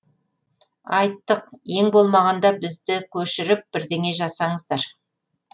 айттық ең болмағанда бізді көшіріп бірдеңе жасаңыздар